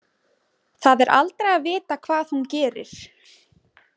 Það er aldrei að vita hvað hún gerir.